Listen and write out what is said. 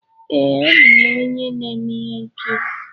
Ee, abụ m onye na-eme ihe nkiri.